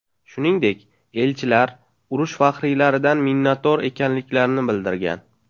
Shuningdek, elchilar, urush faxriylaridan minnatdor ekanliklarini bildirgan.